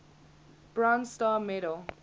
bronze star medal